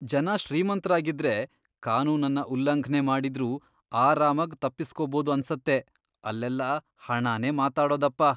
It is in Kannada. ಜನ ಶ್ರೀಮಂತ್ರಾಗಿದ್ರೆ ಕಾನೂನನ್ನ ಉಲ್ಲಂಘ್ನೆ ಮಾಡಿದ್ರೂ ಆರಾಮಾಗ್ ತಪ್ಪಿಸ್ಕೋಬೋದು ಅನ್ಸತ್ತೆ, ಅಲ್ಲೆಲ್ಲ ಹಣನೇ ಮಾತಾಡೋದಪ್ಪ!